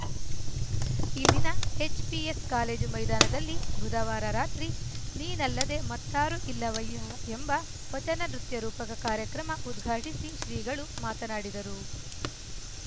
ಇಲ್ಲಿನ HPS college ಮೈದಾನದಲ್ಲಿ ಬುಧವಾರ ರಾತ್ರಿ ನೀನಲ್ಲದೆ ಮತ್ತಾರು ಇಲ್ಲವಯ್ಯ ಎಂಬ ವಚನ ನೃತ್ಯ ರೂಪಕ ಕಾರ್ಯಕ್ರಮ ಉದ್ಘಾಟಿಸಿ ಶ್ರೀಗಳು ಮಾತನಾಡಿದರು